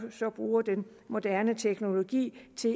bruger den moderne teknologi til